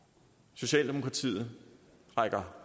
socialdemokratiet rækker